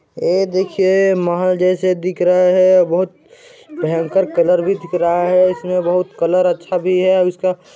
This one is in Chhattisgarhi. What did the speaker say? ऐ देखिए महल जैसा दिख रहा हैं और बहुत भयंकर कलर भी दिख रहा हैं इसमें बहुत कलर अच्छा भी हैं और इसका--